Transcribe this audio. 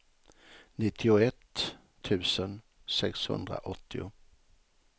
nittioett tusen sexhundraåttio